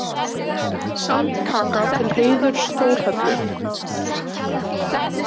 Sandkaka til heiðurs Þórhöllu.